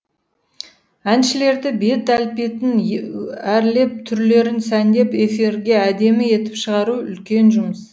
әншілерді бет әлпетін әрлеп түрлерін сәндеп эфирге әдемі етіп шығару үлкен жұмыс